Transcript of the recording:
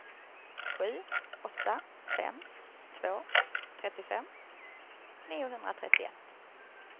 sju åtta fem två trettiofem niohundratrettioett